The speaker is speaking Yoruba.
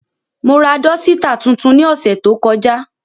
Mo ra dọsitạ tuntun ni ọsẹ to kọja.